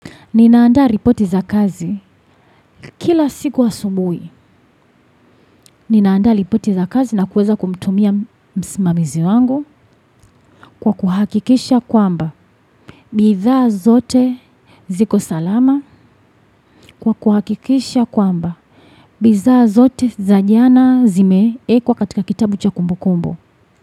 Nina andaa ripoti za kazi kila siku asubuhi. Nina andaa ripoti za kazi na kuweza kumtumia msimamizi wangu kwa kuhakikisha kwamba. Bidhaa zote ziko salama kwa kuhakikisha kwamba. Bidhaa zote za jana zimewekwa katika kitabu cha kumbukumbu.